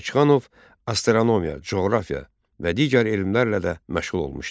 Bakıxanov astronomiya, coğrafiya və digər elmlərlə də məşğul olmuşdu.